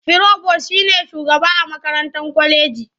Firobos shi ne shugaba a makarantar kwaleji.